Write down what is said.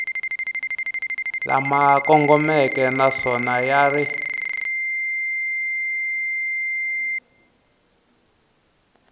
lama kongomeke naswona ya ri